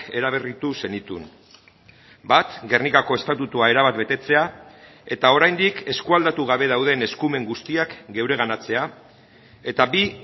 eraberritu zenituen bat gernikako estatutua erabat betetzea eta oraindik eskua aldatu gabe dauden eskumen guztiak geureganatzea eta bi